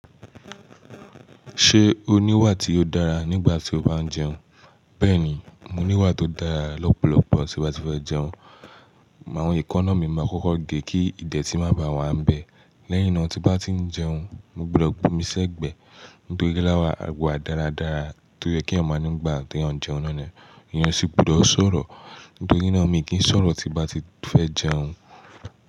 Ṣé o ní ìwà tí ó dára nígbà tí o bá n jẹun? Bẹ́ẹ̀ni, mo ní ìwà tó dára lọ́pọ̀lọpọ̀ tí mo bá ti fẹ́ jẹun. Àwọn eekóná mi mo máa kọ́kọ́ gé kí ìdẹ́tí má ba à wá n bẹ̀ ẹ́ lẹ́yìn náà tí mo bá ti ń jẹun, mo gbọdọ̀ bú omi sẹ́gbẹ̀ẹ́ nítorí pé lárà iwà dáradára tó yẹ kí eyan maa ni nigba tí eeyan ń jẹun náà niyen. Eeyàn o sí gbọ́dọ̀ sọ̀rọ̀ nítorí náa mi kìí sọ̀rọ̀ tí mo bá ti fẹ́ jẹun.